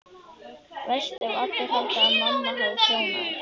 Verst ef allir halda að mamma hafi prjónað þær.